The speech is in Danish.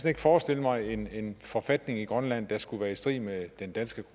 ikke forestille mig en en forfatning i grønland der skulle være i strid med den danske